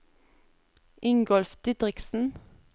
Ingolf Didriksen